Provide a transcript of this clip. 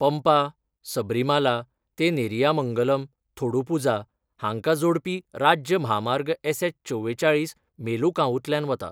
पंपा, सबरीमाला ते नेरियामंगलम, थोडुपुझा हांकां जोडपी राज्य म्हामार्ग एसएच चवेचाळीस मेलुकावूंतल्यान वता.